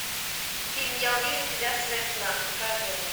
фильм я увижу тебя в своих снах покажи мне